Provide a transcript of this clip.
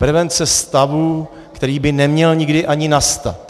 Prevence stavu, který by neměl nikdy ani nastat.